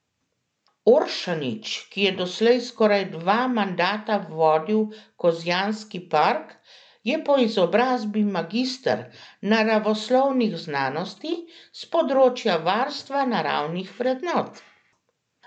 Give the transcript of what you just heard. Oršanič, ki je doslej skoraj dva mandata vodil Kozjanski park, je po izobrazbi magister naravoslovnih znanosti s področja varstva naravnih vrednot.